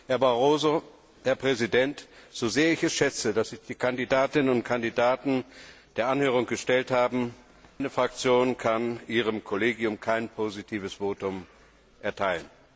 Herr Barroso, Herr Präsident, so sehr ich es schätze, dass sich die Kandidatinnen und Kandidaten der Anhörung gestellt haben meine Fraktion kann Ihrem Kollegium kein positives Votum erteilen!